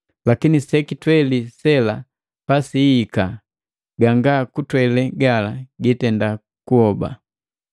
Lakini sekitweli sela pasiihika, ganga kutwele gala gitendakuhoba.